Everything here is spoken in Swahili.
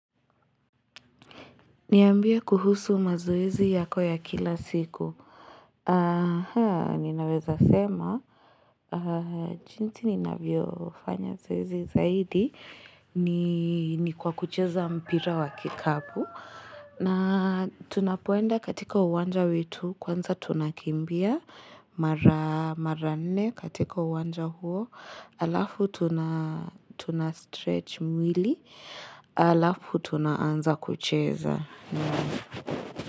Niambie kuhusu mazoezi yako ya kila siku. Aha, ninaweza sema. Jinsi ninavyofanya zoezi zaidi ni kwa kucheza mpira wa kikapu. Na tunapoenda katika uwanja wetu, kwanza tunakimbia. Mara nne katika uwanja huo, halafu tunastretch mwili, halafu tunaanza kucheza.